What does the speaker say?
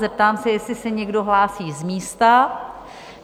Zeptám se, jestli se někdo hlásí z místa?